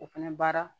O fɛnɛ baara